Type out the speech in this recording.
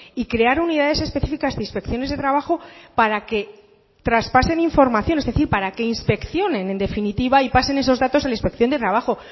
y crear unidades específicas de inspecciones de trabajo para que traspasen información es decir para que inspeccionen en definitiva y pasen esos datos a la inspección de trabajo